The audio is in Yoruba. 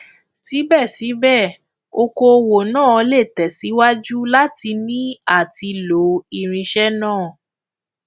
síbẹsíbẹ okòwò náà lè tẹsíwájú láti ní àti lo irinṣẹ náà